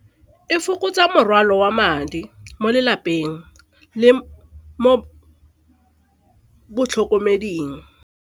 E fokotsa morwalo wa madi mo lelapeng le mo botlhokomeding.